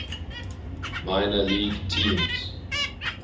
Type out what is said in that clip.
minor league teams